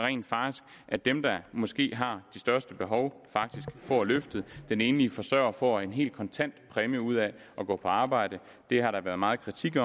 at dem der måske har de største behov får løftet den enlige forsørger får en helt kontant præmie ud af at gå på arbejde det har der været meget kritik af